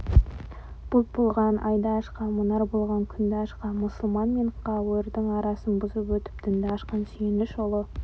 бұлт болған айды ашқан мұнар болған күнді ашқан мұсылман мен кәуірдің арасын бұзып өтіп дінді ашқан сүйініш ұлы